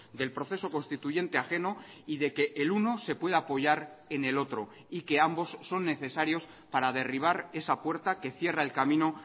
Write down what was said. del proceso constituyente ajeno y de que el uno se puede apoyar en el otro y que ambos son necesarios para derribar esa puerta que cierra el camino